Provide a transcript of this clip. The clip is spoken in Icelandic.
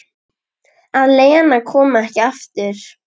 Að Lena komi ekki aftur.